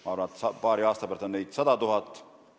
Ma arvan, et paari aasta pärast on neid juba 100 000.